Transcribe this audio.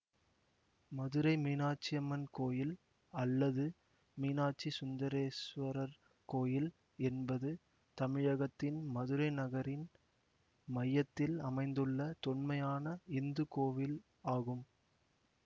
மதுரை மீனாட்சியம்மன் கோயில் அல்லது மீனாட்சி சுந்தரேசுவரர் கோயில் என்பது தமிழகத்தின் மதுரை நகரின் மையத்தில் அமைந்துள்ள தொன்மையான இந்து கோவில் ஆகும்